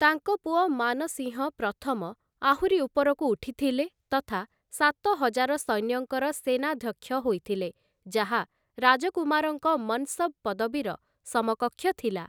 ତାଙ୍କ ପୁଅ ମାନସିଂହ ପ୍ରଥମ ଆହୁରି ଉପରକୁ ଉଠିଥିଲେ ତଥା ସାତହଜାର ସୈନ୍ୟଙ୍କର ସେନାଧ୍ୟକ୍ଷ ହୋଇଥିଲେ, ଯାହା ରାଜକୁମାରଙ୍କ ମନ୍‌ସବ୍‌ ପଦବୀର ସମକକ୍ଷ ଥିଲା ।